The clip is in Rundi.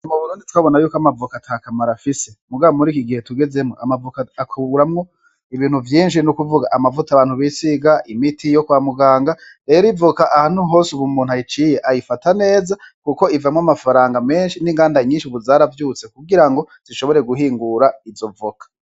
Mu Burundi twabona yuko amavoka ata kamaro afise , muga muri iki gihe tugezemwo amavoka tuyakuramwo ibintu vyinshi n’ukuvuga amavuta abantu bisiga, imiti yo kwa muganga . Rero Ivoka ahantu hose ubu umuntu ayiciye ayifata neza Kuko ivamwo amafaranga menshi n ’inganda nyinshi ubu zaravyutse kugira ngo zishobore guhingura izo voka.